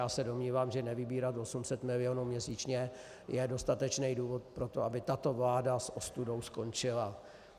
Já se domnívám, že nevybírat 800 milionů měsíčně je dostatečný důvod pro to, aby tato vláda s ostudou skončila.